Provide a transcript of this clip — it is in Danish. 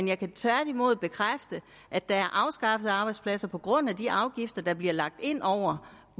jeg kan tværtimod bekræfte at der er afskaffet arbejdspladser på grund af de afgifter der bliver lagt ind over